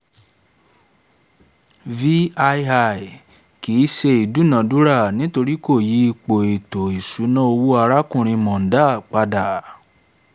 vii kìí ṣe ìdúnadúrà nítorí kò yí ipò ètò ìṣúná owó arákùnrin mondal pada